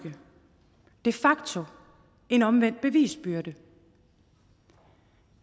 de facto en omvendt bevisbyrde